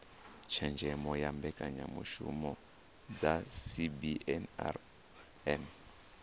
tshenzhemo kha mbekanyamishumo dza cbnrm